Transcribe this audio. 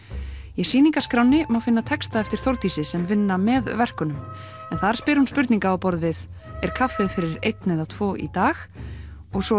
í má finna texta eftir Þórdísi sem vinna með verkunum en þar spyr hún spurninga á borð við er kaffið fyrir einn eða tvo í dag og svo